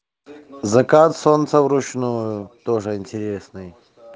закат солнца вручную тоже интересный